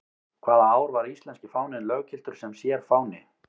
Hvaða ár var íslenski fáninn löggiltur sem sérfáni?